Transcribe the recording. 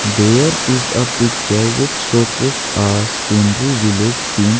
there is a picture which showcase or scenery village scene.